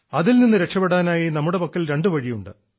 അതിൽനിന്ന് രക്ഷപ്പെടാനായി നമ്മുടെ പക്കൽ രണ്ടു വഴിയുണ്ട്